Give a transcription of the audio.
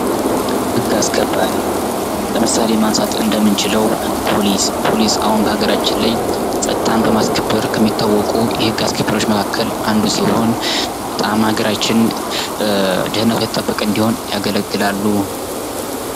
ህግ አስከባሪ ለምሳሌ ማንሳት እንደምንችለው ፖሊስ ፖሊስ አሁን በአገራችን ላይ ጸጥታን በማስከበር ከሚታወቁ የህግ አስከባሪዎች መካከል አንዱ ሲሆን በጣም አገራችን ደህንነቷ የተጠበቀ እንዲሆን ያገለግላሉ።